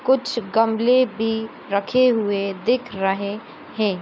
कुछ गमले बी रखे हुए दिख रहे हैं।